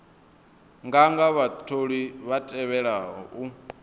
nganga vhatholiwa vha tevhelaho u